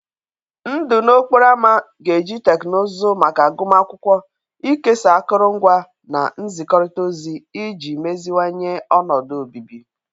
Ndụ n'okporo ámá ga-eji teknụzụ maka agụmakwụkwọ, ikesa akụrụngwa, na nzikọrịta ozi iji meziwanye ọnọdụ obibi.